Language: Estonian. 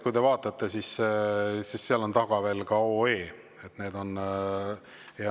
Kui te vaatate, siis näete, et seal on taga veel OE.